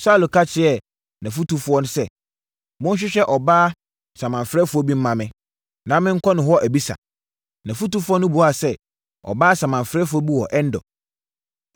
Saulo ka kyerɛɛ nʼafotufoɔ sɛ, “Monhwehwɛ ɔbaa samanfrɛfoɔ bi mma me, na menkɔ ne hɔ abisa.” Nʼafotufoɔ no buaa sɛ, “Ɔbaa samanfrɛfoɔ bi wɔ Endor.”